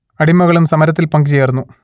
അടിമകളും സമരത്തിൽ പങ്കു ചേർന്നു